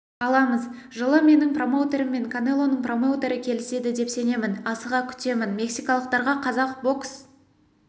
аламыз жылы менің промоутерім мен канелоның промоутері келіседі деп сенемін асыға күтемін мексикалықтарға қазақ бокс